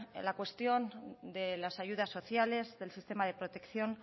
la cuestión de las ayudas sociales del sistema de protección